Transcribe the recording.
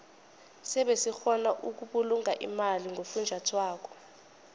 sebe sikgona ukubulunga imali ngofunjathwako